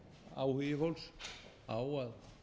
áhugi fólks á að